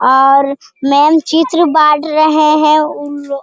और मैम चित्र बांट रहे है ऊ लो --